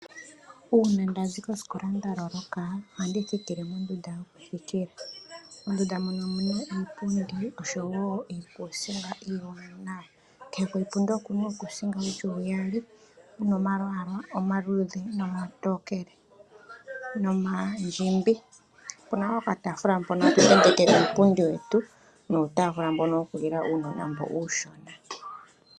Uuna nda zi kosikola nda loloka ohandi thikile mondunda yokuthikila. Mondunda mono omu na iipundi oshowo iikuusinga iiwaanawa. Kehe koshipundi oku na uukuusinga wu li uyali wu na omalwaala omaluudhe, omatokele nomandjimbi. Opu na okataafula mpono tatu uupundi wetu nuutafula mbono wokulila uunona mboka uushona.